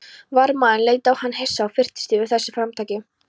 Varðmaðurinn leit á hann hissa og fyrtist yfir þessu framtaki.